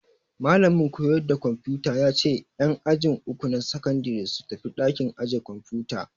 Malamin koyarda kwamfuta ya ce en aji uku na sakandare su tafi ɗakin aje kwamfuta